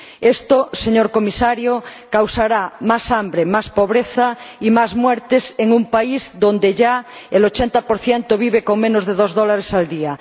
Esto, señor Comisario, causará más hambre, más pobreza y más muertes en un país donde ya el 80 de la población vive con menos de dos dólares al día.